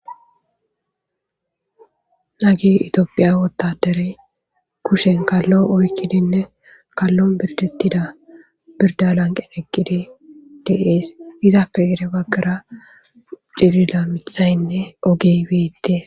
Hagey Ethiopia wotadery kushshen kallo oyikkidinne kaalon birdetida birda lanqen eqid de'es izappe gede bagara cilila miththayinne ogey bettes